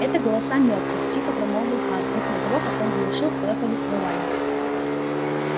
это голоса мёртвых тихо промолвил хан после того как он завершил своё повествование